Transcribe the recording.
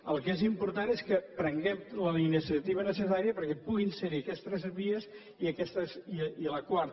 el que és important és que prenguem la iniciativa necessària perquè puguin serhi aquestes tres vies i la quarta